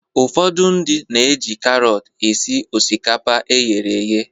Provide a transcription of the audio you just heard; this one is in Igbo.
Ụfọdụ ndị na-eji karọt esi osikapa eghere eghe.